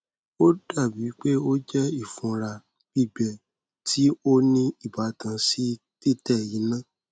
o o dabi pe o jẹ ifunra gbigbẹ ti o ni ibatan si titẹ ina